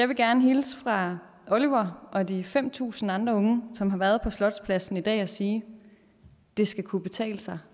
vil gerne hilse fra oliver og de fem tusind andre unge som har været på slotspladsen i dag og sige det skal kunne betale sig